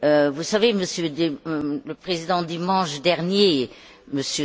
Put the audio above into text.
Vous savez, Monsieur le Président, dimanche dernier M.